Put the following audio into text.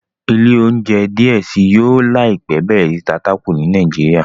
ilé ounjẹ diẹ sí yóò láìpé bẹrẹ sí ta Taco ni Naijiria.